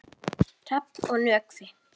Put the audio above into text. Hrafn og Nökkvi.